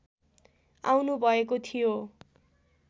आउनुभएको थियो